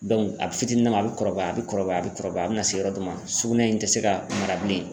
a fitinin na ma a bi kɔrɔbaya, a bi kɔrɔbaya, a be kɔrɔbaya a bina se yɔrɔ dɔ ma sugunɛ in ti se ka mara bilen